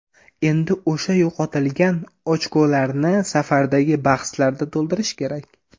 Endi o‘sha yo‘qotilgan ochkolarni safardagi bahslarda to‘ldirish kerak.